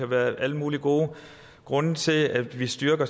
være alle mulige gode grunde til at vi styrker